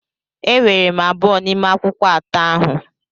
Eweere m abụọ n'ime akwụkwọ atọ ahụ.